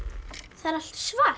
það er allt svart